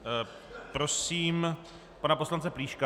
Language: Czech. Prosím pana poslance Plíška.